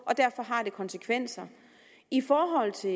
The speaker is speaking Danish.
og derfor har det konsekvenser i forhold til